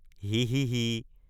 হিঃহিঃহিঃ!